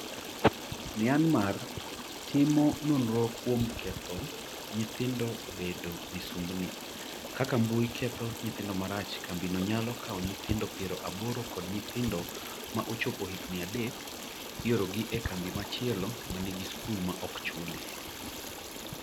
Myanmar timo nonro kuom ‘ketho nyithindo bedo misumbni’ Kaka mbui ketho nyithindo marach Kambino nyalo kawo nyithindo piero aboro ka nyithindo ma ochopo higni adek, iorogi e kambi machielo ma nigi skul ma ok chuli